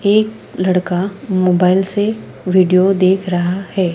एक लड़का मोबाइल से वीडियो देख रहा है।